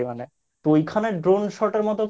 ওইখানে Drone Shot এর মতো